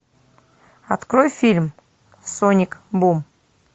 открой фильм соник бум